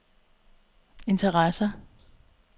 interesser